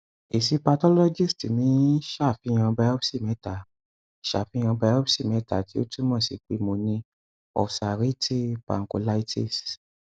èsì pathologist mi ṣàfihàn biopsy mẹta ṣàfihàn biopsy mẹta tí ó túmọ si pé mo ní ulcerative pancolitis